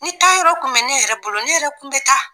Ni taayɔrɔ tun bɛ ne yɛrɛ bolo ne yɛrɛ tun bɛ taa